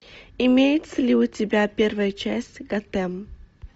имеется ли у тебя первая часть готэм